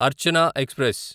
Archana express